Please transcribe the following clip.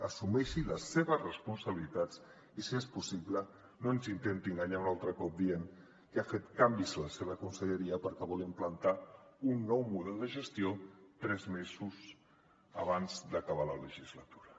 assumeixi les seves responsabilitats i si és possible no ens intenti enganyar un altre cop dient que ha fet canvis a la seva conselleria perquè vol implantar un nou model de gestió tres mesos abans d’acabar la legislatura